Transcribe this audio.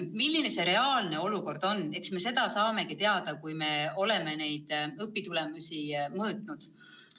Milline on reaalne olukord, eks me seda saame teada, kui me oleme õpitulemusi mõõtnud.